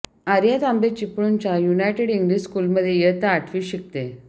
आर्या तांबे चिपळुणच्या United English स्कूलमध्ये इयत्ता आठवीत शिकते